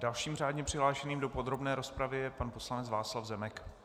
Dalším řádně přihlášeným do podrobné rozpravy je pan poslanec Václav Zemek.